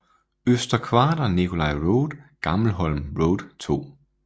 Øster Kvarter Nicolai Rode Gammelholm Rode 2